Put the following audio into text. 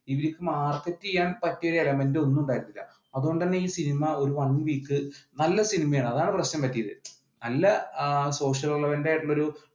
ഇവർക്ക് മാർക്കറ്റ് ചെയ്യാൻ പറ്റിയ element ഒന്നും ഉണ്ടായിട്ടില്ല അതുകൊണ്ട് തന്നെ ഈ സിനിമ ഒരു one week നല്ല സിനിമയാണ് അതാണ് പ്രശ്നം പറ്റിയത് നല്ല social relevant ആയിട്ടുള്ള ഒരു